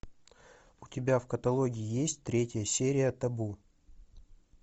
у тебя в каталоге есть третья серия табу